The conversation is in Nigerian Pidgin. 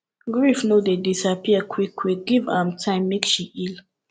grief no dey disappear quickquick give am time make she heal